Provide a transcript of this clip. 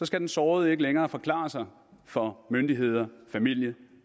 skal den sårede ikke længere forklare sig for myndigheder familie